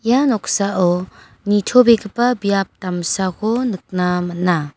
ia noksao nitobegipa biap damsako nikna man·a.